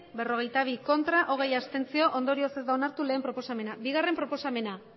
berrogeita bi abstentzioak hogeita bat ondorioz ez da onartu batgarrena proposamena bigarrena proposamena